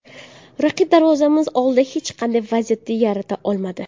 Raqib darvozamiz oldida hech qanday vaziyat yarata olmadi.